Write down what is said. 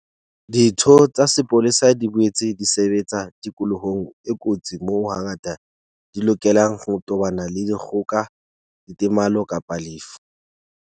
Ditho tsa sepolesa di boetse di sebetsa tikolohong e kotsi moo hangata di lokelang ho tobana le dikgoka, ditemalo kapa lefu.